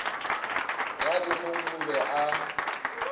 ga dikgong o be a